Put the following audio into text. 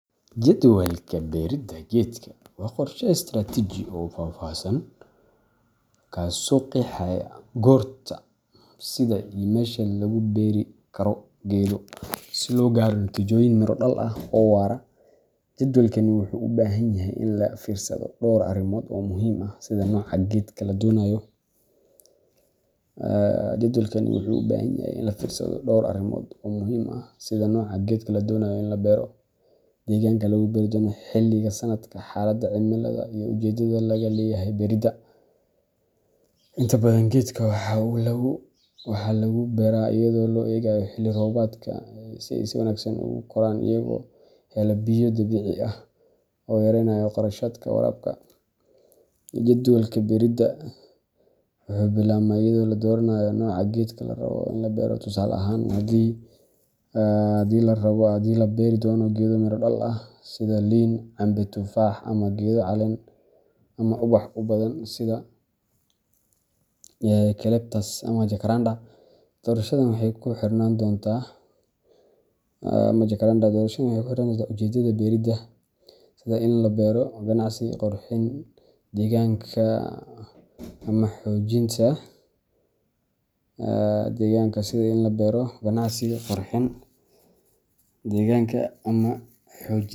Jadwalka beerida geedka waa qorshe istiraatiiji ah oo faahfaahsan kaasoo qeexaya goorta, sida, iyo meesha lagu beeri karo geedo si loo gaaro natiijooyin miro dhal ah oo waara. Jadwalkani wuxuu u baahan yahay in laga fiirsado dhowr arrimood oo muhiim ah sida nooca geedka la doonayo in la beero, deegaanka lagu beeri doono, xilliga sanadka, xaaladaha cimilada, iyo ujeedada laga leeyahay beerida. Inta badan geedaha waxaa lagu beeraa iyadoo loo eegayo xilli roobaadka si ay si wanaagsan ugu koraan iyagoo hela biyo dabiici ah, taasi oo yareyneysa kharashaadka waraabka. Jadwalka beerida wuxuu bilaabmaa iyadoo la dooranayo nooca geedka la rabo in la beero tusaale ahaan, haddii la beeri doono geedo miro-dhal ah sida liin, cambe, tufaax ama geedo caleen ama ubax u badan sida eucalyptus ama jacaranda. Doorashadan waxay ku xirnaan doontaa ujeedada beerida, sida in loo beero ganacsi, qurxin deegaanka, ama xoojin.